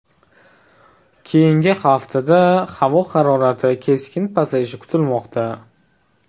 Keyingi haftada havo harorati keskin pasayishi kutilmoqda.